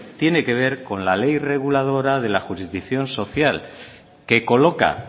tiene que ver con la ley reguladora de la jurisdicción social que coloca